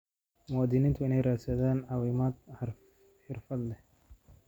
Muwaadiniintu waa inay raadsadaan caawimo xirfadlayaal ah.